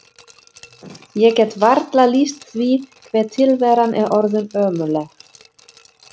Ég get varla lýst því hve tilveran er orðin ömurleg.